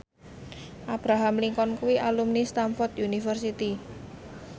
Abraham Lincoln kuwi alumni Stamford University